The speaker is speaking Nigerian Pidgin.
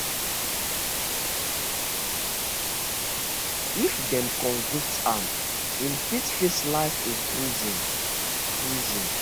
if dem convict am im fit face life in prison prison